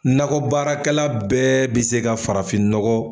Nakɔbaarakɛla bɛɛ bi se ka farafin nɔgɔ